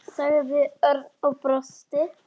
sagði Örn og brosti.